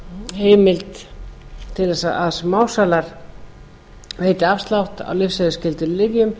heimild til að smásalar veiti afslátt af lyfseðilsskyldum lyfjum